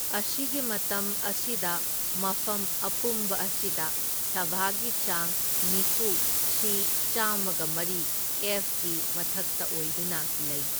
ꯑꯁꯤꯒꯤ ꯃꯇꯝ ꯑꯁꯤꯗ ꯃꯐꯝ ꯑꯄꯨꯝꯕ ꯑꯁꯤꯗ ꯁꯥꯚꯥꯒꯤ ꯆꯥꯡ ꯅꯤꯐꯨ ꯁꯤ ꯆꯥꯝꯃꯒ ꯃꯔꯤ ꯑꯦꯐꯀꯤ ꯃꯊꯛꯇ ꯑꯣꯏꯗꯨꯅ ꯂꯩ꯫